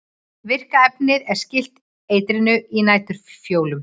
Virka efnið er skylt eitrinu í næturfjólum.